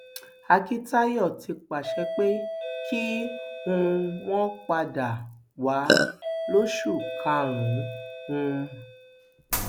akíntayọ ti pàṣẹ pé kí um wọn padà wá lóṣù karùnún um